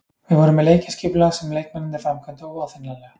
Við vorum með leikskipulag sem leikmennirnir framkvæmdu óaðfinnanlega.